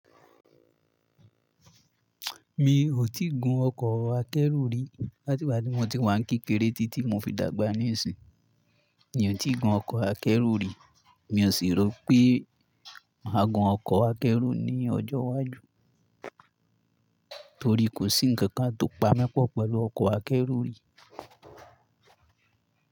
Mi ò tí gun ọkọ̀ akẹ́rù rí. Láti ìgbà tí mo ti wá ń kékeré títí mo fi dàgbà níìsín, mi ò tí gun ọkọ̀ akẹ́rù rí. Mi ò sì rò pé màá gun ọkọ̀ akẹ́rù ní ọjọ́ iwájú, torí kò sí ǹkan tó pami pọ̀ pẹ̀lú ọkọ̀ akẹ́rù rí.